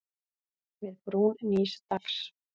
Við brún nýs dags.